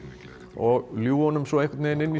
og ljúga honum svo einhvern veginn inn í